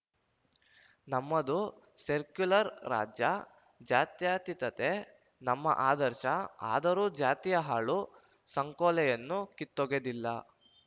ನಮ್ಮದು ಸೆರ್ಕ್ಯುಲರ್‌ ರಾಜ್ಯ ಜ್ಯಾತ್ಯತೀತತೆ ನಮ್ಮ ಆದರ್ಶ ಆದರೂ ಜಾತಿಯ ಹಾಳು ಸಂಕೋಲೆಯನ್ನು ಕಿತ್ತೊಗೆದಿಲ್ಲ